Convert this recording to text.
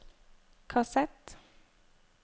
kassett